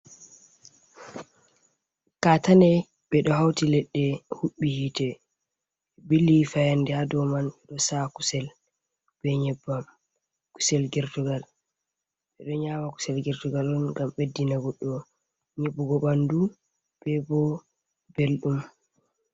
Katane ɓedo hauti leɗde huɓɓi yite bili fayande ha dow man ɗo sa's kusel be nyebbam, kusel gertugal ɓeɗo nyama kusel gertugal on ngam ɓeddina goɗɗo nyibugo ɓandu be bo beldum.